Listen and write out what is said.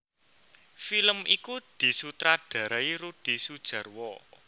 Film iku disutradharai Rudi Sudjarwo